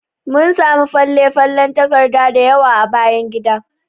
Mun samu falen falen takarda dayawa a bayan gidan.